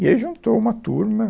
E aí juntou uma turma.